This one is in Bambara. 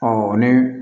ni